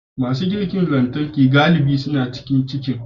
Masu girki na lantarki galibi suna cikin kicin.